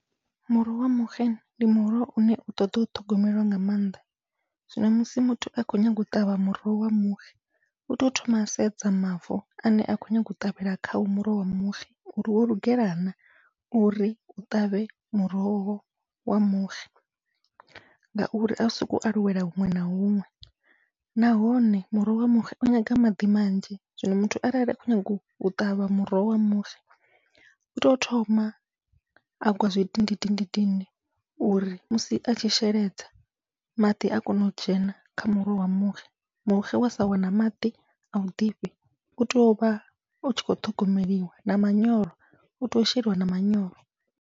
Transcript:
Muroho wa muxe ndi muroho une u ṱoḓa u ṱhogomelwa nga mannḓa, zwino musi muthu a khou nyaga u ṱavha muroho wa muxe uto thoma a sedza mavu ane a khou nyaga u ṱavhela khawo muroho wa muxe uri wo lugela na uri u ṱavhe muroho wa muxe, ngauri au sokou aluwela huṅwe na huṅwe nahone muroho wa muxe u nyanga maḓi manzhi. Zwino muthu arali a khou nyaga u ṱavha muroho wa muxe uto thoma agwa zwidindidindi uri musi atshi sheledza maḓi a kone u dzhena kha muroho wa muxe, muxe wa sa wana maḓi au ḓifhi utea uvha utshi kho ṱhogomeliwa na manyoro utea u sheliwa na manyoro.